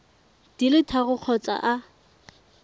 di le tharo kgotsa a